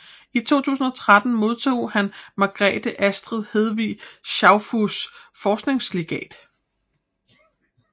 I 2013 modtog han Margrethe Astrid Hedvig Schaufuss Forskningslegat